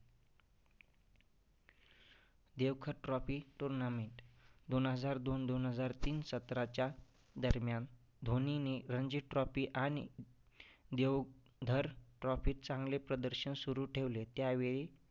देवखत trophy tournament. दोन हजार दोन दोन हजार तीन सत्राच्या दरम्यान धोनीने रंजी trophy आणि देवधर trophy चांगले प्रदर्शन सुरु ठेवले. त्यावेळी